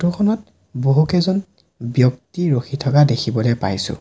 Photo খনত বহুকেইজন ব্যক্তি ৰখি থকা দেখিবলৈ পাইছোঁ।